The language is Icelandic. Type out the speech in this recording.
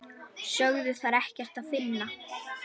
Sögðu þar ekkert að finna.